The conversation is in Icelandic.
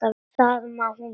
Það má hún bóka.